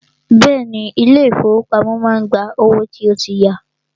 Bẹ́ẹ̀ni, ilé ìfọwọ́pamo má ń gba owó tó tí ya.